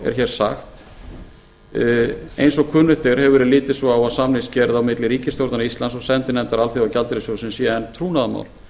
er hér sagt eins og kunnugt er hefur verið litið svo á að samningagerð á milli ríkisstjórnar íslands og sendinefndar alþjóðagjaldeyrissjóðsins sé enn trúnaðarmál